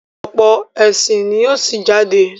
ọ̀pọ̀ ẹ̀sìn ní yíò sí jáde.